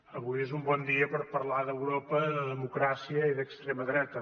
avui és un bon dia per parlar d’europa de democràcia i d’extrema dreta